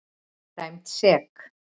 Dæmd sek.